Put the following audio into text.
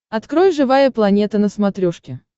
открой живая планета на смотрешке